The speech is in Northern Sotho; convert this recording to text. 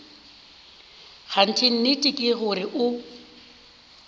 kganthe nnete ke gore o